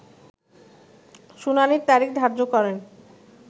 শুনানির তারিখ ধার্য করেন